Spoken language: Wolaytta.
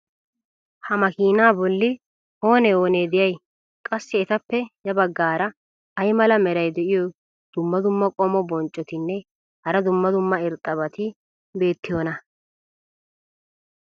ha makiinaa boli oonee oonee de'iyay? qassi etappe ya bagaara ay mala meray diyo dumma dumma qommo bonccotinne hara dumma dumma irxxabati beetiyoonaa?